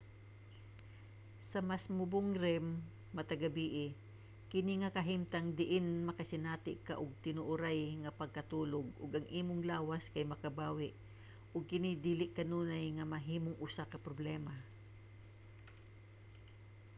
sa mas mubong rem matag gabii kini nga kahimtang diin makasinati ka og tinuoray nga pagkatulog ug ang imong lawas kay makabawi og kini dili kanunay nga mahimong usa ka problema